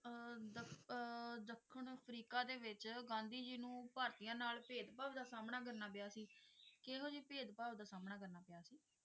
ਅਹ ਦੱ ਅਹ ਦੱਖਣ ਅਫਰੀਕਾ ਦੇ ਵਿੱਚ ਗਾਂਧੀ ਜੀ ਨੂੰ ਭਾਰਤੀਆਂ ਨਾਲ ਭੇਦਭਾਵ ਦਾ ਸਾਹਮਣਾ ਕਰਨਾ ਪਿਆ ਸੀ ਕਿਹੋ ਜਿਹੇ ਭੇਦਭਾਵ ਦਾ ਸਾਹਮਣਾ ਕਰਨਾ ਪਿਆ ਸੀ?